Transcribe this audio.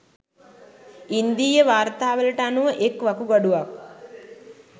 ඉන්දීය වාර්තාවලට අනුව එක් වකුගඩුවක්